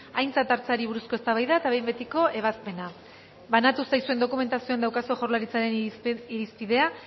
aintzat hartzeari buruzko eztabaida eta behin betiko ebazpena banatu zaizuen dokumentazioan daukazue jaurlaritzaren irizpidea